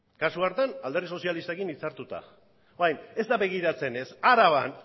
kasu hartan alderdi sozialistarekin hitzartuta hori bai ez da begiratzen ez araban